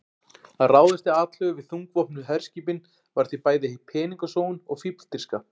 Að ráðast til atlögu við þungvopnuð herskipin var því bæði peningasóun og fífldirfska.